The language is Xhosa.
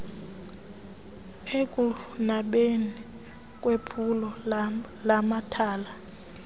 ekunabeni kwephulo lamathala